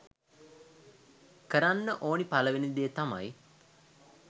කරන්න ඕනි පළවෙනි දේ තමයි